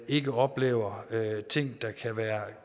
ikke oplever